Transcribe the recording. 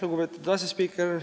Lugupeetud asespiiker!